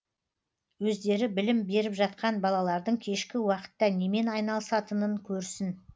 өздері білім беріп жатқан балалардың кешкі уақытта немен айналысатынын көрсін